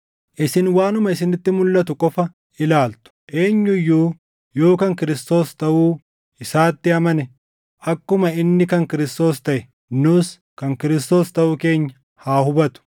Isin waanuma isinitti mulʼatu qofa ilaaltu. Eenyu iyyuu yoo kan Kiristoos taʼuu isaatti amane akkuma inni kan Kiristoos taʼe, nus kan Kiristoos taʼuu keenya haa hubatu.